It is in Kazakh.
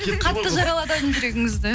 қатты жаралады ау деймін жүрегіңізді